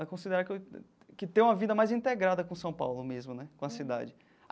a considerar que eu que tenho uma vida mais integrada com São Paulo mesmo né, com a cidade.